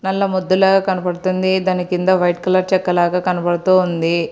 నల్ల మొద్దులాగ కనబడుతుంది దాని కింద వైట్ కలర్ చెక్క లాగ కనబడుతూ ఉంది.